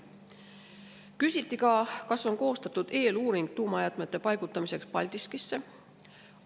Küsiti ka, kas on koostatud eeluuring tuumajäätmete paigutamiseks Paldiskisse.